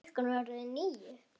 Klukkan var orðin níu.